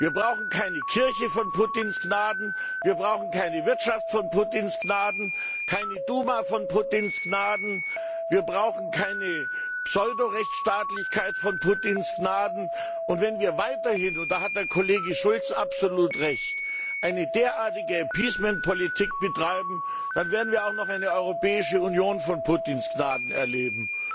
Wir brauchen keine Kirche von Putins Gnaden, wir brauchen keine Wirtschaft von Putins Gnaden, keine Duma von Putins Gnaden, wir brauchen keine Pseudo Rechtsstaatlichkeit von Putins Gnaden. Und wenn wir weiterhin und da hat Kollege Schulz absolut Recht eine derartige Appeasement Politik betreiben, dann werden wir auch noch eine Europäische Union von Putins Gnaden erleben.